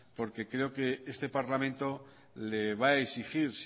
porque creo que este parlamento le va a exigir